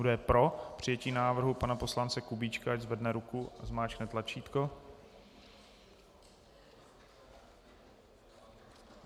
Kdo je pro přijetí návrhu pana poslance Kubíčka, ať zvedne ruku a zmáčkne tlačítko.